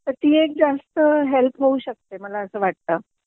तर ती एक जास्त हेल्प होऊ शकते मला असं वाटत